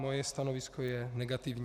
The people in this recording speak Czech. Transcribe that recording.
Moje stanovisko je negativní.